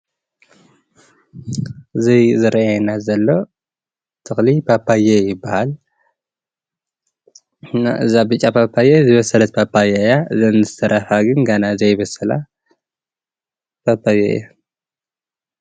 እዚ ዝረኣየና ዘሎ ተክሊ ፓፓዮ ይባሃል። እና እዛ ብጫ ፓፓዮ ዝበሰለት ፓፓዮ እያ እዘን ዝተረፋ ግን ገና ዘይበሰላ ፓፓዮ እየን።